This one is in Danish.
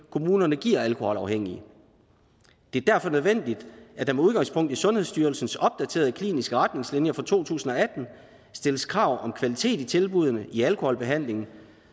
kommunerne giver alkoholafhængige det er derfor nødvendigt at der med udgangspunkt i sundhedsstyrelsens opdaterede kliniske retningslinjer for to tusind og atten stilles krav om kvalitet i tilbuddene i alkoholbehandlingen